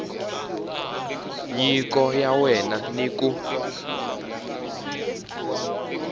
nyiko ya wena ni ku